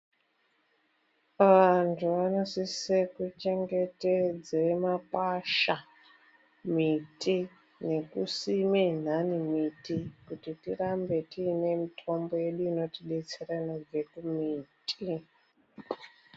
Antu anosise kuchengetedze makwasha, miti nekusime antani miti kuti tirambe tiine mitombo yedu inotidetsera inobve kumiti.